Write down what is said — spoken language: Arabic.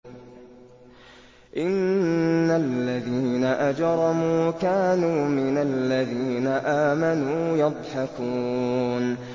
إِنَّ الَّذِينَ أَجْرَمُوا كَانُوا مِنَ الَّذِينَ آمَنُوا يَضْحَكُونَ